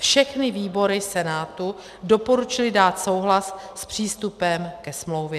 Všechny výbory Senátu doporučily dát souhlas s přístupem ke smlouvě.